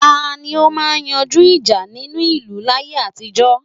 Tani ó máa ń yanjú ìjà nínú ìlú láyé àtijó?